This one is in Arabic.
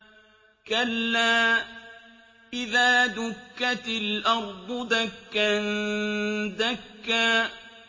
كَلَّا إِذَا دُكَّتِ الْأَرْضُ دَكًّا دَكًّا